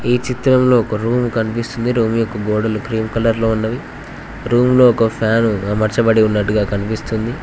ఈ చిత్రంలో ఒక రూమ్ కనిపిస్తూ ఉంది రూమ్ యొక్క గోడలు క్రీం కలర్ లో ఉన్నవి రూమ్ లో ఒక ఫ్యాన్ అమర్చబడి ఉన్నట్టుగా కనిపిస్తుంది.